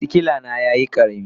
sikila dina yayi karami.